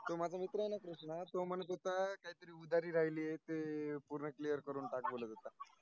तो माझा मित्र आहेन कृष्ण तो म्हणत होता, काहीतरी उधारी राहिली ते पूर्ण clear करून टाक.